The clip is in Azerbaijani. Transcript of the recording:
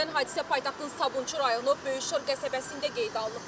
Sözügedən hadisə paytaxtın Sabunçu rayonu Böyük Şor qəsəbəsində qeydə alınıb.